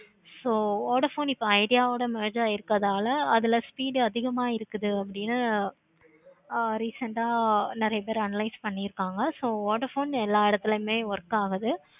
so vodafone இப்போ idea வோட merge ஆகிறுக்கனால அதுல speed அதிகமா இருக்குதுனு அப்படி ஆஹ் recent ஆஹ் நெறைய பேரு analyse பண்ணிருக்காங்க. so vodafone எல்லா எடத்துலையும் work ஆகுது.